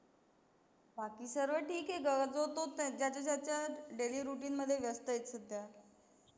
बाकी सर्व ठीक हे ग, जो तो ज्याच्या ज्याच्या daily routine मध्ये व्यस्त आहे सध्या.